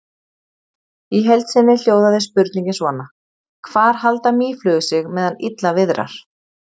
Í heild sinni hljóðaði spurningin svona: Hvar halda mýflugur sig meðan illa viðrar?